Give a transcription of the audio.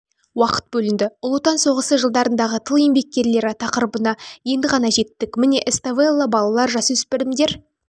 уақыт бөлінді ұлы отан соғысы жылдарындағы тыл еңбеккерлері тақырыбына енді ғана жеттік міне эставелла балалар-жасөспірімдер